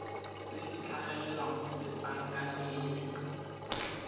tse di tlhagelela mo setlankaneng